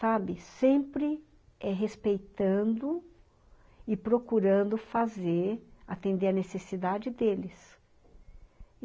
Sabe, sempre é respeitando e procurando fazer, atender a necessidade deles.